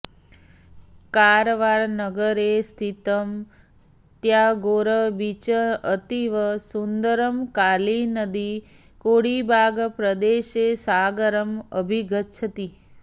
कारवारनगरे स्थितम् टयागोर् बीच् अतीव सुन्दरम् काळीनदी कोडीबाग् प्रदेशे सागरम् अभिगच्छति